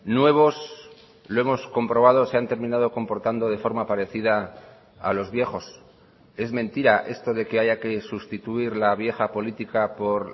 nuevos lo hemos comprobado se han terminado comportando de forma parecida a los viejos es mentira esto de que haya que sustituir la vieja política por